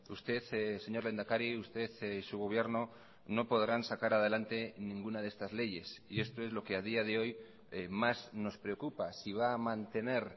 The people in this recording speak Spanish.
usted señor lehendakari usted y su gobierno no podrán sacar adelante ninguna de estas leyes y esto es lo que a día de hoy más nos preocupa si va a mantener